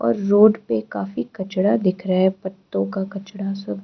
और रोड पे काफी कचरा दिख रहा है पत्तों का कचरा सब।